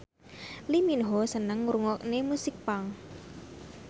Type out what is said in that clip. Lee Min Ho seneng ngrungokne musik punk